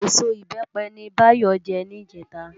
Ésó Ibèpè ni Bayo jè nijètá